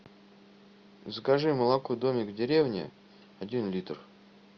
закажи молоко домик в деревне один литр